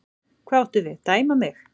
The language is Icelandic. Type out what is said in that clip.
Hvað áttu við, dæma mig?